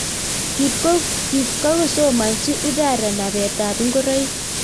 Kipkosomanchii Uthara napeet ap ingoroik